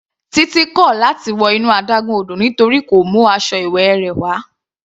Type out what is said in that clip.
Titi kò láti wọ inú adágún odò nítorí kò mú aṣọ ìwẹ̀ rẹ̀ wá.